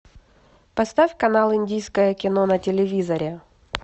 поставь канал индийское кино на телевизоре